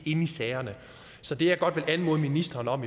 inde i sagerne så det jeg godt vil anmode ministeren om